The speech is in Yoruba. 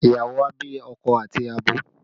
Ìyàwó a bí akọ àti abo